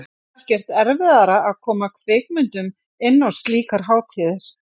Er ekkert erfiðara að koma kvikmyndum inn á slíkar hátíðir?